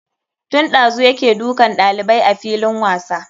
Tun ɗazu yake dukan ɗalibai a filin wasa.